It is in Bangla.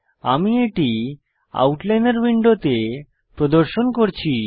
আমি এটি আউটলাইনর উইন্ডোতে প্রদর্শিত করছি